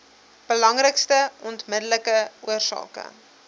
belangrikste onmiddellike oorsake